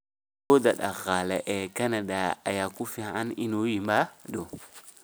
Awood dhaqaale ee Kanada ayaa ku filan inuu yimaado